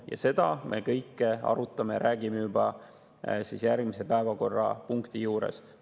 Ent seda kõike me arutame ja räägime juba järgmise päevakorrapunkti juures.